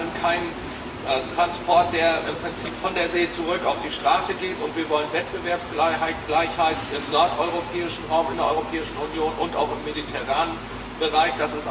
Wir wollen keinen Transport, der im Prinzip von der See zurück auf die Straße geht, und wir wollen Wettbewerbsgleichheit im nordeuropäischen Raum, in der Europäischen Union und auch im mediterranen Bereich.